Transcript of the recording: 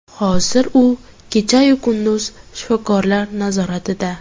Hozir u kechayu kunduz shifokorlar nazoratida.